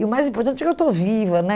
E o mais importante é que eu estou viva né.